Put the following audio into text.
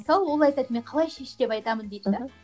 мысалы ол айтады мен қалай шеш деп айтамын дейді де мхм